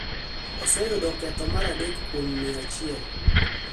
oseyudo ketho mar adek kuom mia achiel.